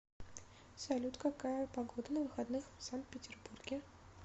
салют какая погода на выходных в сан петербурге